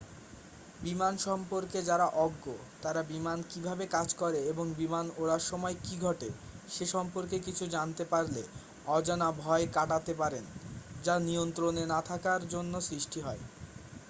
বিমান সম্পর্কে যারা অজ্ঞ তারা বিমান কীভাবে কাজ করে এবং বিমান ওড়ার সময় কী ঘটে সে সম্পর্কে কিছু জানতে পারলে অজানা ভয় কাটাতে পারেন যা নিয়ন্ত্রণে না থাকার জন্য সৃষ্টি হয়